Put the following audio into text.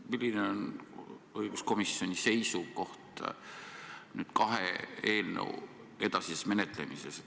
Milline on õiguskomisjoni seisukoht kahe eelnõu edasise menetlemise kohta?